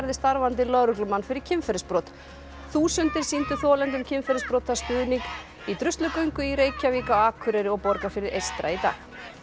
starfandi lögreglumann fyrir kynferðisbrot þúsundir sýndu þolendum kynferðisbrota stuðning í Druslugöngu í Reykjavík á Akureyri og Borgarfirði eystra í dag